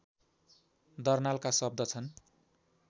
दर्नालका शब्द छन्